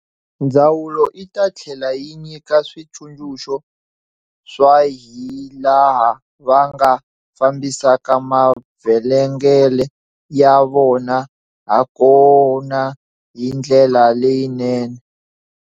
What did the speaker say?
Ndzawulo yi ta tlhela yi nyika switsundzuxo swa hilaha va nga fambisaka mavhengele ya vona hakona hi ndlela leyinene.